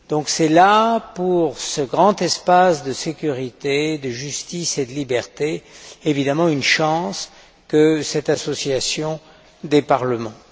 C'est là, pour ce grand espace de sécurité, de justice et de liberté, une chance que cette association des parlements.